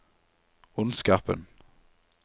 ondskapen